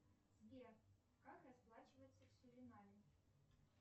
сбер как расплачиваться в суринаме